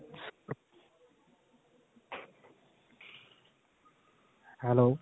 hello